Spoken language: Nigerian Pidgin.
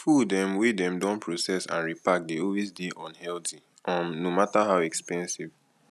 food um wey dem don process and repark dey always dey unhealthy um no matter how expensive